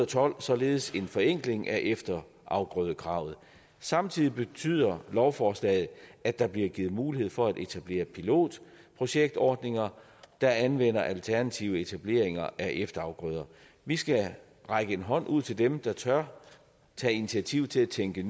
tolv således en forenkling af efterafgrødekravet samtidig betyder lovforslaget at der bliver givet mulighed for at etablere pilotprojektordninger der anvender alternative etableringer af efterafgrøder vi skal række en hånd ud til dem der tør tage initiativ til at tænke